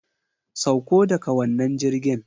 Sauko daga wannan jirgin!